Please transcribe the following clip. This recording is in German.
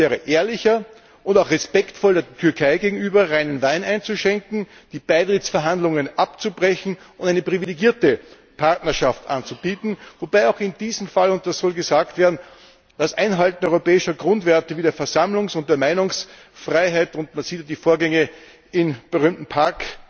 Es wäre ehrlicher und auch respektvoller der Türkei gegenüber, reinen Wein einzuschenken, die Beitrittsverhandlungen abzubrechen und eine privilegierte Partnerschaft anzubieten, wobei auch in diesem Fall und das soll gesagt werden das Einhalten europäischer Grundwerte wie der Versammlungs und der Meinungsfreiheit man sieht ja die Vorgänge im berühmten Park